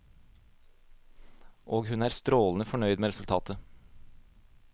Og hun er strålende fornøyd med resultatet.